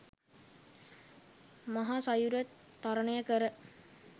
මහ සයුර තරණය කර